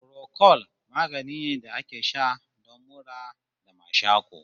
Furokol magani ne da ake sha don mura da mashaƙo